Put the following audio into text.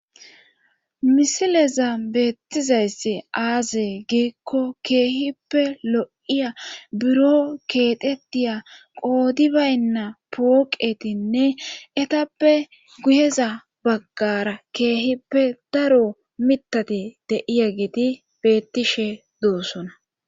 Misileza beettizayssi aaze giikko keehippe lo77iya buro keexettiya qoodi baynna pooqetinne etappe guyeza baggaara keehippe daro mitati de7iageeti bettishe duussona.